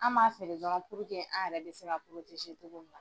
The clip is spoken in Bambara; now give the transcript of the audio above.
An b'a feere dɔrɔn an yɛrɛ bɛ se cogo min na.